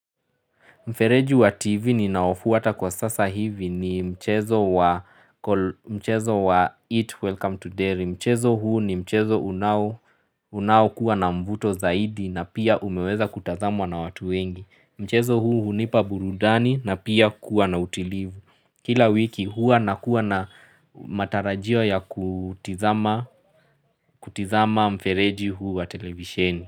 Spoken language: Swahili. Mfereji wa TV ni naofuata kwa sasa hivi ni mchezo wa It Welcome to Derry. Mchezo huu ni mchezo unawo kuwa na mvuto zaidi na pia umeweza kutazamwa na watu wengi. Mchezo huu hunipa burudani na pia kuwa na utilivu. Kila wiki huua nakuwa na matarajio ya kutizama mfereji huu wa televisheni.